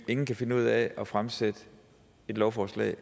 ingen kan finde ud af at fremsætte et lovforslag